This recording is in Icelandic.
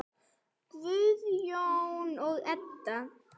Guðjón og Edda.